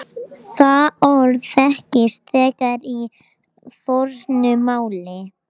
Það orð þekkist þegar í fornu máli.